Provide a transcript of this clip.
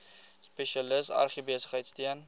spesialis agribesigheid steun